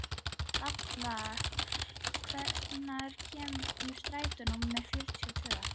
Dalla, hvenær kemur strætó númer fjörutíu og tvö?